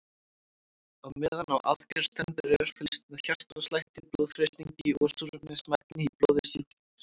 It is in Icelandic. Á meðan á aðgerð stendur er fylgst með hjartslætti, blóðþrýstingi og súrefnismagni í blóði sjúklings.